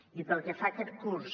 i pel que fa a aquest curs